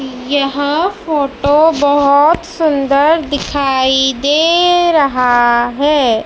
यह फोटो बहोत सुन्दर दिखाई दे रहा है।